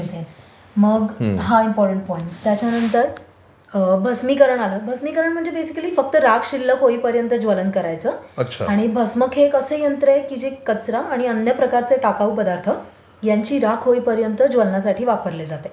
मग हा important point, त्याच्यानंतर भस्मीकरण आलं. भस्मीकरण म्हणजे बेसिकली फक्त राख शिल्लक होईपर्यंत ज्वलन करायचं आणि भस्मक हे एक असं यंत्र आहे जे कचरा आणि अन्य प्रकारचे टाकाऊ पदार्थ ह्यांची राख होईपर्यत ज्वलनासाठी वापरले जाते